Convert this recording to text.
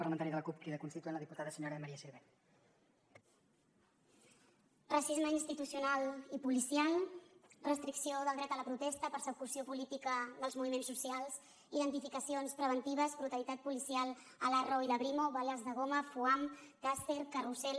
racisme institucional i policial restricció del dret a la protesta persecució política dels moviments socials identificacions preventives brutalitat policial a l’arro i la brimo bales de goma foam taser carrusel